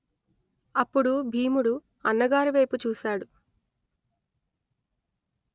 అప్పుడు భీముడు అన్నగారి వైపు చూశాడు